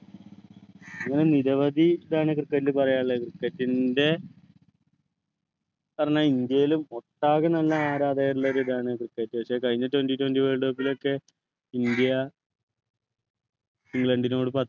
അങ്ങനെ നിരവധി തവണ cricket ൻ്റെ പറയാനുള്ളത് cricket ൻ്റെ പറഞ്ഞാൽ ഇന്ത്യയില് ഒട്ടാകെ തന്നെ ആരാധകരുള്ള ഒരു ഇതാണ് cricket പക്ഷേ കഴിഞ്ഞ twenty twenty world cup ലു ഒക്കെ ഇന്ത്യ ഇംഗ്ലണ്ടിനോട് പ